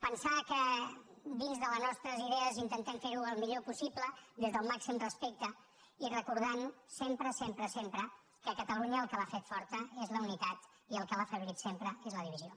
pensar que dins de les nostres idees intentem fer ho el millor possible des del màxim respecte i recordant sempre sempre sempre que catalunya el que l’ha fet forta és la unitat i el que l’ha afeblit sempre és la divisió